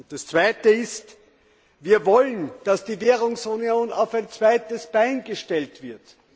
Das Zweite ist Wir wollen, dass die Währungsunion auf ein zweites Bein gestellt wird.